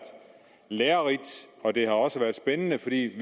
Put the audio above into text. lærerigt og det har også været spændende fordi vi